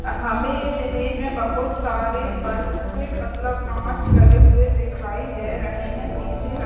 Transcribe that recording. हमें इस इमेज़ में बहुत सारे बल्ब मतलब कांच लगे हुए दिखाई दे रहे है। शीशे--